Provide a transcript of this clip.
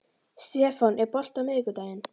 Stefán, er bolti á miðvikudaginn?